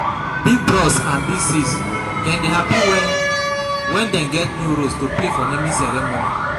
Big bros and big sis dem dey happy wen wen dem get new role to play for naming ceremony.